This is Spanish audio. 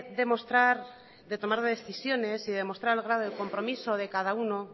de mostrar de tomar decisiones y de mostrar el grado del compromiso de cada uno